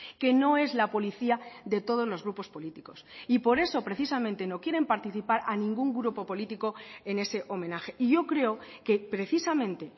que no es la policía de todos los grupos políticos y por eso precisamente no quieren participar a ningún grupo político en ese homenaje y yo creo que precisamente